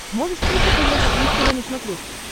можешь включить европа плюс тв на смотрешке